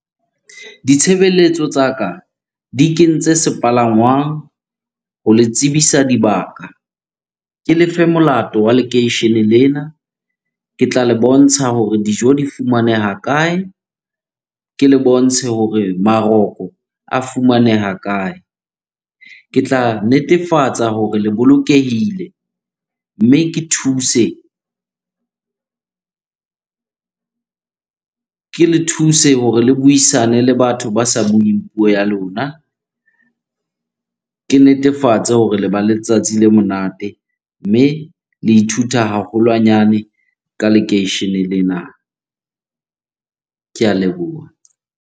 Ditshebeletso tsa ka di kentse sepalangwang ho le tsebisa dibaka. Ke lefe molato wa lekeishene lena, ke tla le bontsha hore dijo di fumaneha kae? Ke le bontshe hore maroko a fumaneha kae? Ke tla netefatsa hore le bolokehile mme ke thuse, ke le thuse hore le buisane le batho ba sa bueng puo ya lona. Ke netefatse hore le ba letsatsi le monate mme le ithuta haholwanyane ka lekeisheneng lena. Ke a leboha.